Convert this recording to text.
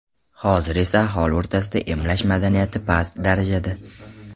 Hozir esa aholi o‘rtasida emlash madaniyati past darajada.